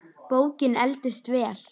Bókin eldist vel.